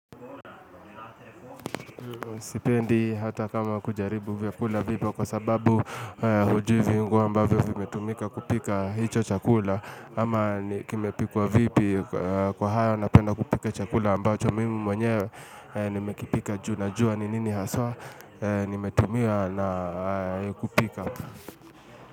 Sipendi hata kama kujaribu vyakula vipo kwa sababu hujui viungo ambavyo vimetumika kupika hicho chakula ama kimepikwa vipi. Kwa hayo napenda kupika chakula ambacho mimi mwenyewe nimekipika juu najua ni nini haswa nimetumia na kupika.